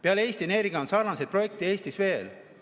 Peale Eesti Energia on sarnaseid projekte Eestis veel.